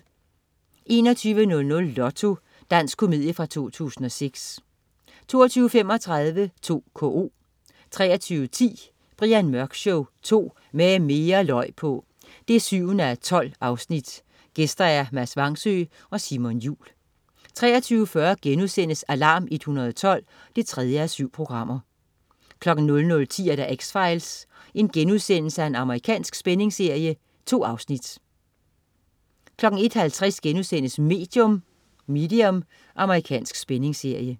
21.00 Lotto. Dansk komedie fra 2006 22.35 2KO 23.10 Brian Mørk Show 2. Med mere løg på! 7:12. Gæster: Mads Vangsøe og Simon Jul 23.40 Alarm 112 3:7* 00.10 X-Files.* Amerikansk spændingsserie. 2 afsnit 01.50 Medium.* Amerikansk spændingsserie